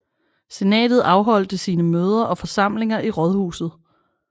Senatet afholdte sine møder og forsamlinger i rådhuset